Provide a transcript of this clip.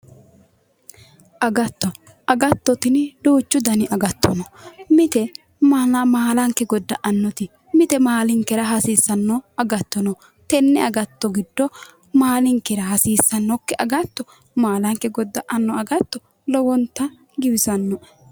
Agatto, agatto tini duuchu dani agatto no mite maalanke godda"annoti mite maalinkera hasiissano agatto no, tenne agatto giddo maalinkera hasiissannokki agatto maalanke goda"anno agatto lowonta giwisannoe